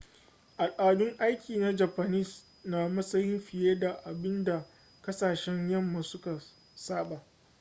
al'adun aiki na japanese na da matsayi fiye da abin da kasashen yamma suka saba